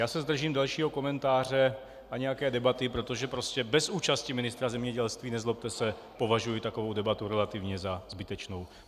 Já se zdržím dalšího komentáře a nějaké debaty, protože prostě bez účasti ministra zemědělství, nezlobte se, považuji takovou debatu relativně za zbytečnou.